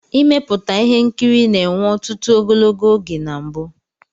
Ịmeputa ihe nkiri na-enwe ọtụtụ ogologo oge na mbu.